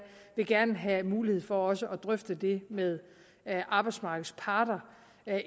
vil gerne have mulighed for også at drøfte det med arbejdsmarkedets parter